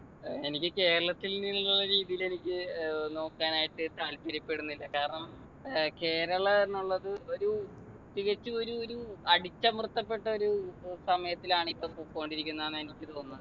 എനിക്ക് കേരളത്തിൽ നിന്നുള്ള രീതിയിൽ എനിക്ക് ഏർ നോക്കാനായിട്ട് താല്പര്യപെടുന്നില്ല കാരണം ഏർ കേരളന്നുള്ളത് ഒരു തികച്ചും ഒരു ഒരു അടിച്ചമർത്തപ്പെട്ട ഒരു ഏർ സമയത്തിലാണ് ഇപ്പോ പൊക്കോണ്ടിരിക്കുന്ന ആന്നാ എനിക്ക് തോന്നുന്നെ